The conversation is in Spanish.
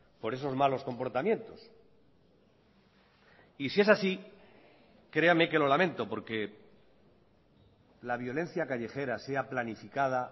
por esos malos comportamientos y si es así creame que lo lamento porque la violencia callejera sea planificada